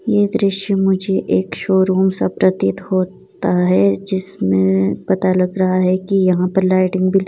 यह दृश्य मुझे एक शोरूम सा प्रतीत होता है जिसमें पता लग रहा है कि यहां पर लाइटिंग --